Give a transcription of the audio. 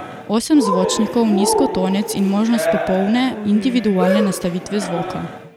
Osem zvočnikov, nizkotonec in možnost popolne, individualne nastavitve zvoka.